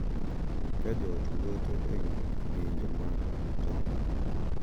Ka jo ot wuotho ​​ewi ng’injo mag tong’,